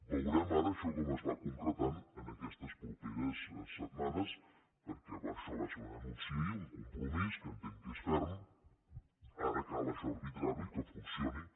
veurem ara això com es va concretant aquestes properes setmanes perquè això va ser un anunci ahir un compromís que entenc que és ferm ara cal això arbitrar ho i que funcioni